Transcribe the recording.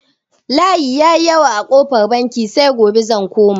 Layi ya yi yawa a kofar banki, sai gobe zan koma.